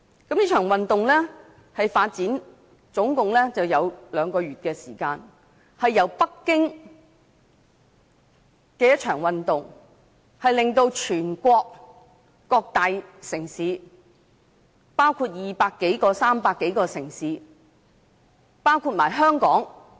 這場運動的發展經歷共兩個月時間，由北京的一場運動，擴展至全國200多、300多個城市，包括香港。